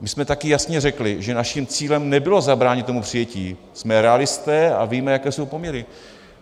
My jsme taky jasně řekli, že naším cílem nebylo zabránit tomu přijetí, jsme realisté a víme, jaké jsou poměry.